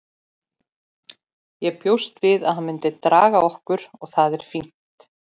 Ég bjóst við að hann myndi draga okkur og það er fínt.